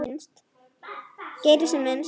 Geri sem minnst.